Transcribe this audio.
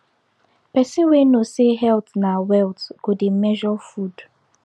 person wey know say health na wealth go dey measure food